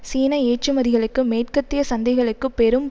சீன ஏற்றுமதிகளுக்கு மேற்கத்திய சந்தைகளுக்கு பெரும்